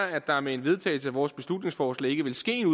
at der med en vedtagelse af vores beslutningsforslag ikke ville ske en